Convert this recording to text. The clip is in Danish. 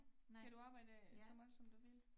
Kan du arbejde så meget som du vil?